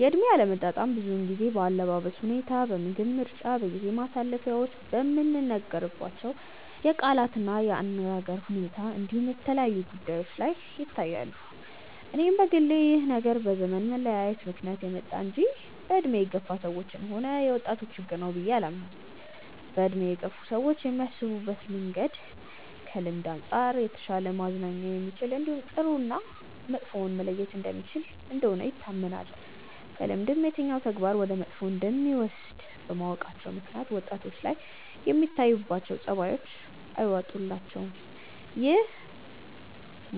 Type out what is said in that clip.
የእድሜ አለመጣጣም ብዙውን ጊዜ በአለባበስ ሁኔታ፣ በምግብ ምርጫ፣ በጊዜ ማሳለፊያዎቻችን፣ በምንነጋገርባቸው የቃላት እና የአነጋገር ሁኔታ እንዲሁም የተለያዩ ጉዳዮች ላይ ይታያሉ። እኔም በግሌ ይህ ነገር በዘመን መለያየት ምክንያት የመጣ እንጂ በእድሜ የገፋ ሰዎችም ሆነ የወጣቶች ችግር ነው ብዬ አላምንም። በእድሜ የገፉ ሰዎች የሚያስቡበት መንገድ ከልምድ አንጻር የተሻለ ማገናዘብ የሚችል እንዲሁም ጥሩ እና መጥፎውን መለየት የሚችል እንደሆነ ይታመናል። ከልምድም የትኛው ተግባር ወደ መጥፎ እንደሚወስድ በማወቃቸው ምክንያት ወጣቶች ላይ የሚታዩት ጸባዮች አይዋጡላቸውም። ግን ይሄ